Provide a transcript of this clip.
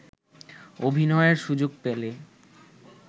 অভিনয়ের সুযোগ পেলে